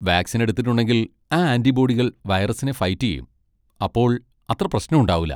Vaccine എടുത്തിട്ടുണ്ടെങ്കിൽ ഈ ആന്റിബോഡികൾ വൈറസിനെ ഫൈറ്റ് ചെയ്യും, അപ്പോ അത്ര പ്രശ്നം ഉണ്ടാവൂല.